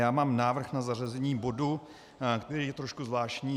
Já mám návrh na zařazení bodu, který je trošku zvláštní.